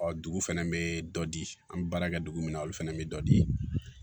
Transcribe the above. Ɔ dugu fɛnɛ bee dɔ di an be baara kɛ dugu min na olu fɛnɛ be dɔ di